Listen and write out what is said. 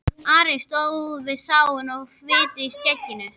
Ari stóð við sáinn með fitu í skegginu.